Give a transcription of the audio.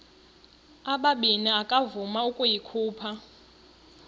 ubabini akavuma ukuyikhupha